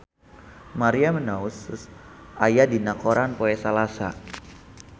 Maria Menounos aya dina koran poe Salasa